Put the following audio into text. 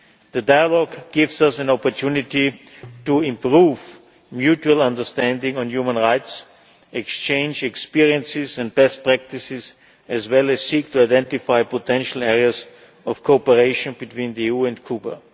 The dialogue gives us an opportunity to improve mutual understanding on human rights and exchange experiences and best practices, as well as seek to identify potential areas of cooperation between the EU and